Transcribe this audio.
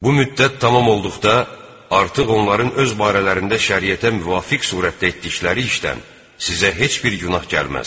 Bu müddət tamam olduqda artıq onların öz barələrində şəriətə müvafiq surətdə etdikləri işdən sizə heç bir günah gəlməz.